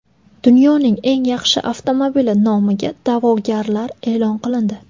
Dunyoning eng yaxshi avtomobili nomiga da’vogarlar e’lon qilindi.